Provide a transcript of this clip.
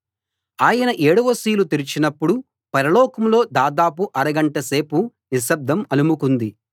ఆయన ఏడవ సీలు తెరిచినప్పుడు పరలోకంలో దాదాపు అరగంట సేపు నిశ్శబ్దం అలుముకుంది